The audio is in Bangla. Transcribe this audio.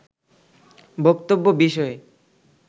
বক্তব্য বিষয়ে